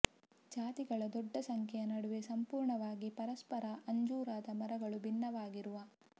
ಜಾತಿಗಳ ದೊಡ್ಡ ಸಂಖ್ಯೆಯ ನಡುವೆ ಸಂಪೂರ್ಣವಾಗಿ ಪರಸ್ಪರ ಅಂಜೂರದ ಮರಗಳು ಭಿನ್ನವಾಗಿರುವ